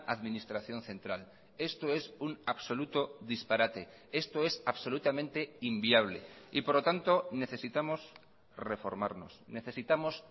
administración central esto es un absoluto disparate esto es absolutamente inviable y por lo tanto necesitamos reformarnos necesitamos